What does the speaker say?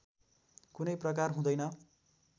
कुनै प्रकार हुँदैन